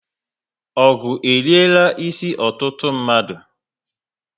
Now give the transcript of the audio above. Ogụ eriela isi ọtụtụ mmadu